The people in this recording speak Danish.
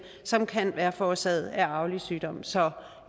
som kan være forårsaget af arvelige sygdomme så